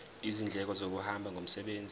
izindleko zokuhamba ngomsebenzi